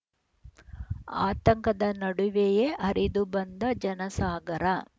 ಆತಂಕದ ನಡುವೆಯೇ ಹರಿದು ಬಂದ ಜನಸಾಗರ